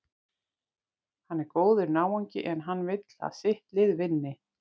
Hann er góður náungi, en hann vill að sitt lið vinni.